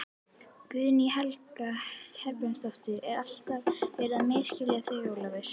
Guðný Helga Herbertsdóttir: Er alltaf verið að misskilja þig Ólafur?